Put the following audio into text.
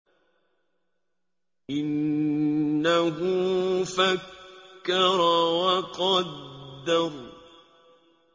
إِنَّهُ فَكَّرَ وَقَدَّرَ